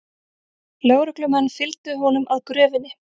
Lögreglumenn fylgdu honum að gröfinni